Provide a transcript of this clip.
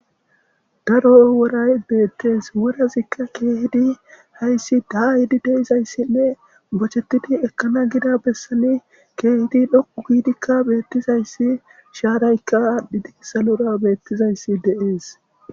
daro woray beettees worazikka keehidi hayssi daa yiidi deizayssinne bochettidi ekkana gida bessani keehidi dhoqu giidikka beettizayssi shaaraykka aadhdhi digi salora beettizayssi deees